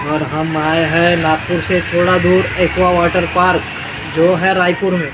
और हम आए हैं लातूर से थोड़ा दूर एक्वा वाटर पार्क जो है रायपुर में --